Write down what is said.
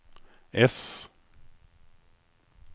S